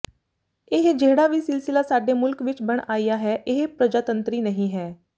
ਇਹ ਜਿਹੜਾ ਵੀ ਸਿਲਸਿਲਾ ਸਾਡੇ ਮੁਲਕ ਵਿੱਚ ਬਣ ਆਇਆ ਹੈ ਇਹ ਪਰਜਾਤੰਤਰੀ ਨਹੀਂ ਹੈ